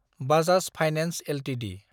Bajaj finance Ltd